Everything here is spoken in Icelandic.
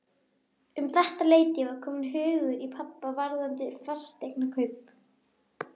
Um þetta leyti var kominn hugur í pabba varðandi fasteignakaup.